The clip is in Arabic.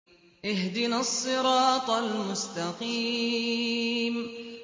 اهْدِنَا الصِّرَاطَ الْمُسْتَقِيمَ